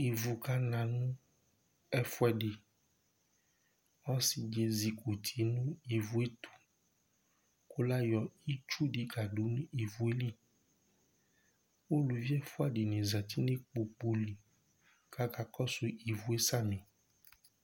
Ivʋ kana nʋ ɛfʋɛdi Ɔsi di ezikʋti nʋ ivʋ ye tu kʋ layɔ itsu di kadu nʋ ivʋ ye li Ʋlʋvi ɛfʋa dìní zɛti nʋ ikpoku li ku akakɔsu ivʋ ye samì